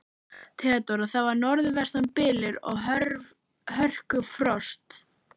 THEODÓRA: Það var norðvestan bylur og hörkufrost.